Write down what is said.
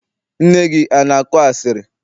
Nne gị ana akọ asịrị?